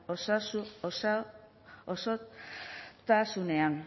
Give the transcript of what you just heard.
osasu osa osotasunean